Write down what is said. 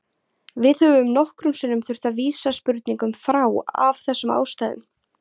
Við höfum nokkrum sinnum þurft að vísa spurningum frá af þessum ástæðum.